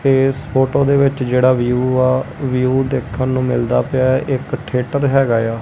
ਇਸ ਫ਼ੋਟੋ ਦੇ ਵਿੱਚ ਜਿਹੜਾ ਵਿਊ ਆ ਵਿਊ ਦੇਖਨ ਨੂੰ ਮਿਲਦਾ ਪਿਆ ਐ ਇੱਕ ਥੀਏਟਰ ਹੈਗਾ ਏ ਆ।